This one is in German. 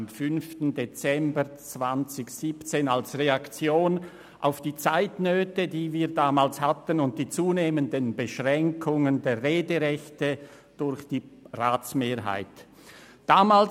Am 5. Dezember 2017 wurde er als Reaktion auf die Zeitnöte, die wir damals hatten, und die zunehmenden Beschränkungen der Rederechte durch die Ratsmehrheit eingereicht.